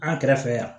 An kɛrɛfɛ yan